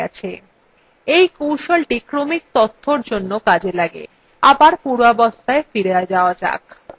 এই কৌশলটি ক্রমিক তথ্যর জন্য কাজ করে